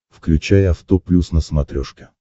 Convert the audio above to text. включай авто плюс на смотрешке